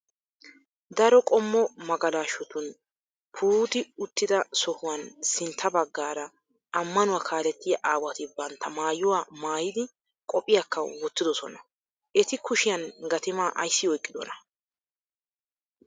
Daro qommo magalashotun puutti uttida sohuwan sintta baggaara ammanuwa kaalettiya aawati bantta maayuwa maayidi qophphiyakka wottidosona. Eti kushiyan gatimaa ayissi oyiqidona?